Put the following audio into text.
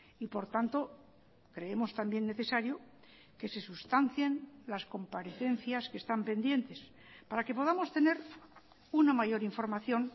y por tanto creemos también necesario que se sustancien las comparecencias que están pendientes para que podamos tener una mayor información